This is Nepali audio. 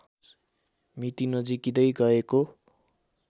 मिति नजिकिँदै गएको